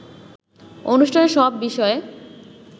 অনুষ্ঠানে সব বিষয়ে